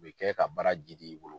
U bɛ kɛ ka bara jiidi i bolo.